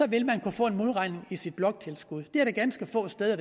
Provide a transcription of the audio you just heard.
vil man kunne få en modregning i sit bloktilskud der er ganske få steder